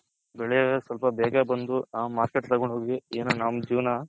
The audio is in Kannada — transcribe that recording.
ಬೆಳೆಯಲ್ಲ ಸ್ವಲ್ಪ ಬೇಗ ಬಂದು ನಾವ್ Market ತಗೊಂಡ್ ಹೋಗಿ ಏನೋ ನಮ್ಮ ಜೀವನ